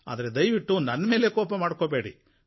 ಆದರೆ ದಯವಿಟ್ಟು ನನ್ನ ಮೇಲೆ ಕೋಪ ಮಾಡ್ಕೋಬೇಡಿ